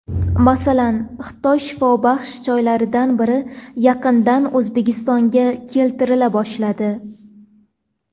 Masalan, Xitoy shifobaxsh choylaridan biri yaqindan O‘zbekistonga keltirila boshladi.